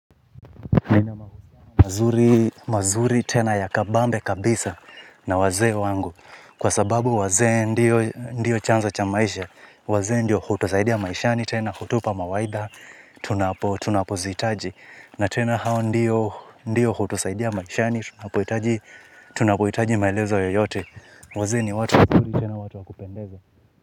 Mazuri tena ya kabambe kabisa na wazee wangu kwa sababu wazee ndio chanzo cha maisha wazee ndio hutusaidia maishani tena hutupa mawaidha tunapozihitaji na tena hao ndio hutusaidia maishani tunapohitaji maelezo yoyote wazee ni watu.